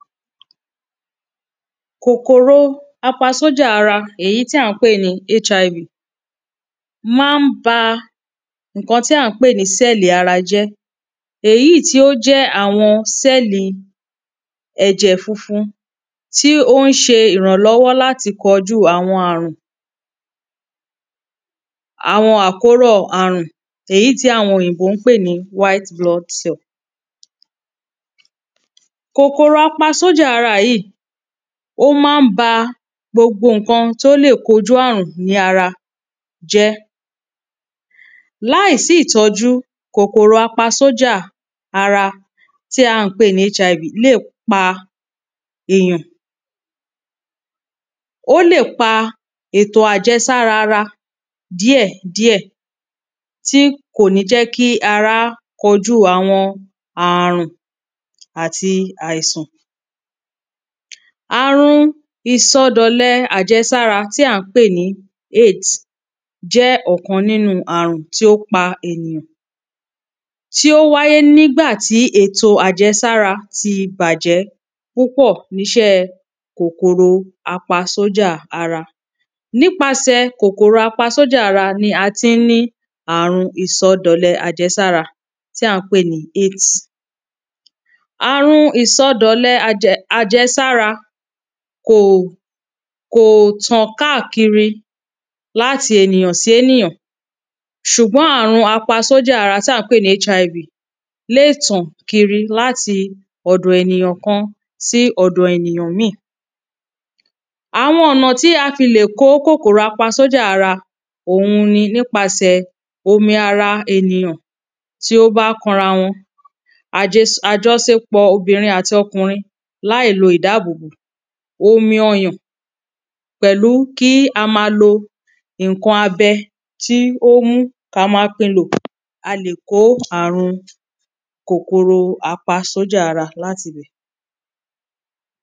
Kòkòrò apa sójà ara èyí tí à ń pè ní hiv má ń ba nǹkan tí à ń pè ní sẹ́lì ara jẹ́ èyí tí ó jẹ́ àwọn sẹ́lì ẹ̀jẹ̀ funfun tí ó ń ṣe ìrànlọ́wọ́ láti kọjú àwọn àrùn. Àwọn àkọ́rọ̀ àrùn èyí tí àwọn olóyìnbó ń pè ní white blood cell. Kòkòrò apa sójà ara yìí ó má ń ba gbogbo nǹkan tí ó le kojú àrùn ní ara jẹ́. Láì sí ìtọ́jú òkòrò apa sójà ara tí à ń pè ní hiv lè pa èyàn. Ó lè pa ètò ajẹsára ara díẹ̀ díẹ̀ tí kò ní jẹ́ kí ara kojú àwọn àrùn àti àìsàn. Àrùn ìsọdọ̀lẹ àjẹsára tí à ń pè ní aids jẹ́ ọ̀kan nínú àrùn tí ó pa ènìyàn. tí ó wáyé nígbà tí ètò àjẹsára ti bàjẹ́ púpọ̀ nínú iṣẹ́ kòkòrò apa sójà ara. Nípasẹ̀ kòkòrò apa sójà ara ni a ti ń ní àrùn ìsọdọ̀lẹ àjẹsára tí à ń pè ní aids. Àrùn ìsọdọ̀lẹ àjẹ àjẹsára kò kò tàn kákìri láti ènìyàn sí ènìyàn ṣùgbọ́n àrùn apa sójà ara tí à ń pè ní hiv lè tàn kìri láti ọ̀dọ̀ ènìyàn kan sí ọ̀dọ̀ ènìyàn míì. Àwọn ọ̀nà tí a fi lè kó kòkòrò apa sójà ara òhun ni nípasẹ̀ omi ara ènìyàn tí ó ba kanra wọn. àjọsopọ̀ ọkùnrin àti obìnrin láì lo ìdábò bò omi ọyàn pẹ̀lú kí a má lo nǹkan abẹ tó mú kí a má pín lò a lè kó àrùn kòkòrò apa sójà ara látibẹ̀.